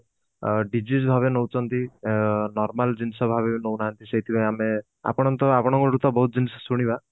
ଅ daisies ଭାବରେ ନଉଛନ୍ତି ଅ normal ଜିନିଷ ଭାବେ ନଉ ନାହାନ୍ତି ସେଇଥିପାଇଁ ଆମେ ଆପଣଙ୍କ ତ ଆପଣଙ୍କ ଠୁ ତ ବହୁତ ଜିନିଷ ଶୁଣିବା